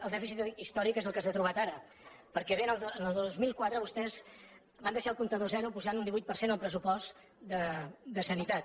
el dèficit històric és el que s’ha trobat ara perquè en el dos mil quatre vostès van deixar el comptador a zero pujant un divuit per cent el pressupost de sanitat